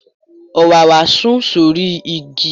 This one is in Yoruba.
Òwáwá sùn sórí igi.